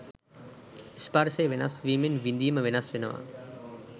ස්පර්ශය වෙනස් වීමෙන් විඳීම වෙනස් වෙනවා.